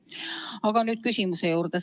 Aga nüüd küsimuse juurde.